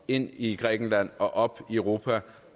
ind i grækenland og op i europa